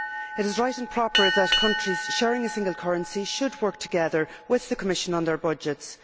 It is right and proper that countries sharing a single currency should work together with the Commission on their budgets.